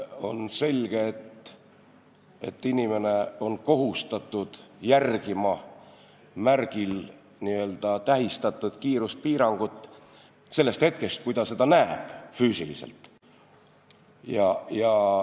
On selge, et inimene on kohustatud järgima märgil tähistatud kiiruspiirangut sellest hetkest, kui ta seda füüsiliselt näeb.